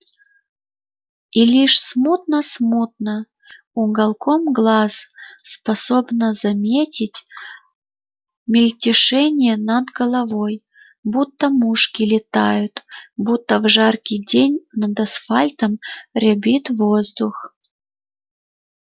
и лишь смутно-смутно уголком глаз способна заметить мельтешение над головой будто мушки летают будто в жаркий день над асфальтом рябит воздух